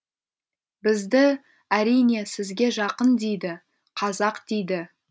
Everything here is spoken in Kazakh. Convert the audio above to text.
бізді әрине сізге жақын дейді қазақ дейді